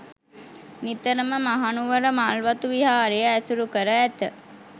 නිතරම මහනුවර මල්වතු විහාරය ඇසුරු කර ඇත.